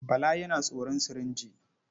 Bala yana tsoron sirinji.